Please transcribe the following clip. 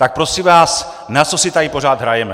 Tak prosím vás, na co si tady pořád hrajeme?